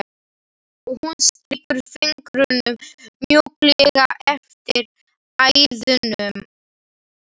Hún strýkur fingrunum mjúklega eftir æðunum.